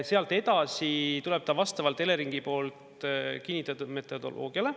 Sealt edasi tuleb ta vastavalt Eleringi poolt kinnitatud metodoloogiale.